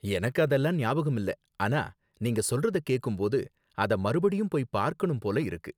எனக்கு அதெல்லாம் ஞாபகம் இல்ல, ஆனா நீங்க சொல்றத கேக்கும் போது அத மறுபடியும் போய் பார்க்கணும் போல இருக்கு